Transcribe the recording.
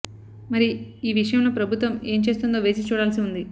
మరి ఈ విషయంలో ప్రభుత్వం ఏం చేస్తుందో వేచి చూడాల్సి ఉంది